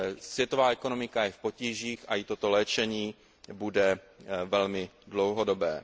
Světová ekonomika je v potížích a i toto léčení bude velmi dlouhodobé.